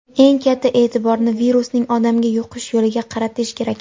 eng katta e’tiborni virusning odamga yuqish yo‘liga qaratish kerak.